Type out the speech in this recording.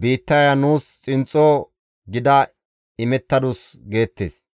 biittaya nuus xinxxo gida imettadus› geettes.